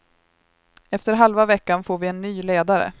Efter halva veckan får vi en ny ledare.